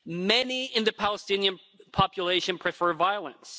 Many in the Palestinian population prefer violence.